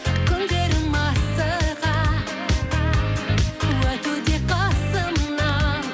күндерім асыға өтуде қасымнан